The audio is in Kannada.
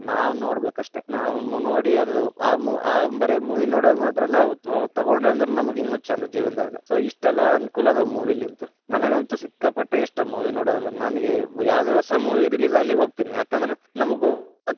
ನಾವ್‌ ನೋಡ್ಬೇ ಕ್ ಅಷ್ಟೇ. ನಾವ್‌ ನೋಡಿ ಅದು ಆ mo ಬರೇ movie ನೋಡೋದ್ ಮಾತ್ರ ಅಲ್ಲಾ ಅವು ತಗೊಂಡ್ವೆಂದ್ರ ನಮ್ಗ್ ಇನ್ನು ಛಂದ್‌ ಅದ ಜೀವನ್ದಾಗ್‌ so ಇಷ್ಟೇಲ್ಲಾ, ಅನಕೂಲ ಅದಾವ movie ಲಿಂತ, ನನಗಂತೂ ಸಿಕ್ಕಾಪಟ್ಟೆ ಇಷ್ಟ movie ನೋಡೋದಂದ್ರ ನನಗೆ ಯಾವದೇ ಹೊಸ movie release ಆಗ್ಲಿ ಹೋಗ್ತೇನಿ, ಯಾಕಂದ್ರ ನಮಗ್‌ ಗೋತ್ತೆ.